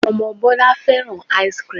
Ọmọ Bọlá fẹ́ràn ice-cream